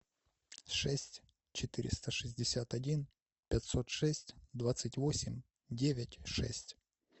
шесть четыреста шестьдесят один пятьсот шесть двадцать восемь девять шесть